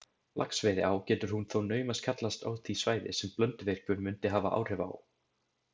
Laxveiðiá getur hún þó naumast kallast á því svæði, sem Blönduvirkjun mundi hafa áhrif á.